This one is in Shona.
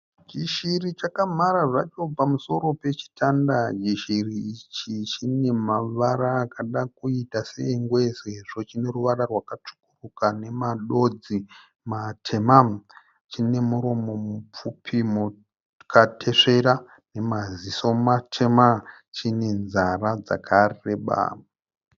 Chishiri chakamhara zvacho pamusoro pechitanda. Chishiri ichi chine mavara akada kuita seengwe sezvo chine ruvara rwakatsvukuruka namadodzi matema. Chine muromo mupfupi wakatesvera nemaziso matema. Chine nzara dzakareba.